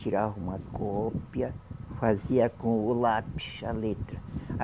Tirava uma cópia, fazia com o lápis a letra. A